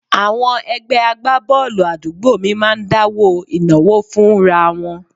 Àwọn ẹgbẹ́ agbábọ́ọ̀lù àdúgbò mi máa ń dáwó ìnáwó fúnra wọn